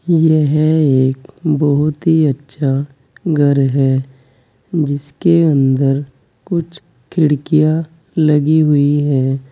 यह एक बहुत ही अच्छा घर है जिसके अंदर कुछ खिड़कियां लगी हुई है।